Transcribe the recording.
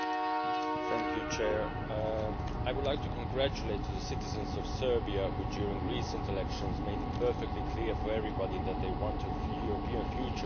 Mr President, I would like to congratulate the citizens of Serbia, who, during recent elections, made it perfectly clear to everybody that they want a European future for their country.